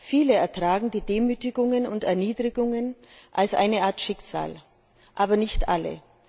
Viele ertragen die Demütigungen und Erniedrigungen als eine Art Schicksal, aber nicht alle.